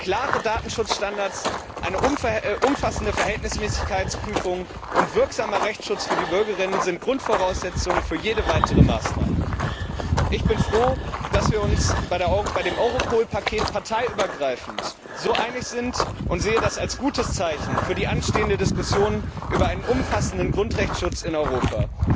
Klare Datenschutzstandards, eine umfassende Verhältnismäßigkeitsprüfung und wirksamer Rechtsschutz für die Bürgerinnen und Bürger sind Grundvoraussetzung für jede weitere Maßnahme. Ich bin froh, dass wir uns bei dem Europol Paket parteiübergreifend so einig sind, und sehe das als gutes Zeichen für die anstehende Diskussion über einen umfassenden Grundrechteschutz in Europa.